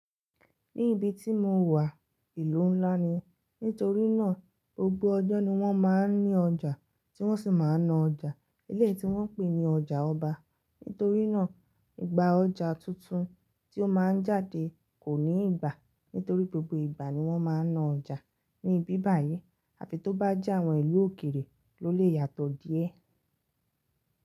Ní ibi tí mo wà, ìlú ńlá ni, nítorí náà gbogbo ọjọ́ ni wọ́n máa ń ní ọjà tí wọ́n sì máa ń na ọjà. Ilé tí wọ́n ń pè ní ọjà ọba, nítorí náà ìgbà ọjà tuntun tí ó máa ń jáde kò ní ìgbà, nítorí gbogbo ìgbà ni wọ́n máa ń na ọjà ní ibi báyìí. Àfi tó bá jẹ́ àwọn ìlú òkèèrè ló lè yàtọ̀ díẹ̀.